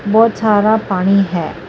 ਬਹੁਤ ਸਾਰਾ ਪਾਣੀ ਹੈ।